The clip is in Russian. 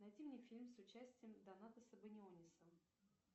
найди мне фильм с участием донатаса баниониса